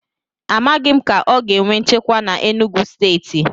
A maghi m ka o ga enwe nchekwa na Enugwu stééti